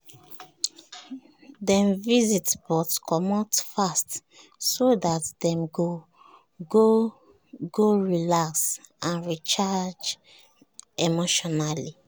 dem visit but comot fast so dat dem go go relax and recharge emotionally